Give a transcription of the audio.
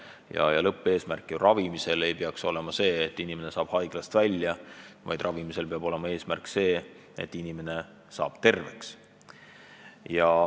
Ravimise lõppeesmärk ei peaks olema see, et inimene saab haiglast välja, vaid ravimise eesmärk peab olema see, et inimene saab terveks.